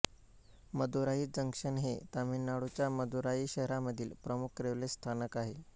Madurai junction हे तमिळनाडूच्या मदुराई शहरामधील प्रमुख रेल्वे स्थानक आहे